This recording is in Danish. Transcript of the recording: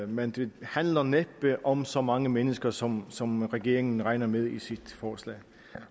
men det handler næppe om så mange mennesker som som regeringen regner med i sit forslag